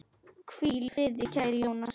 Hvíl í friði, kæri Jónas.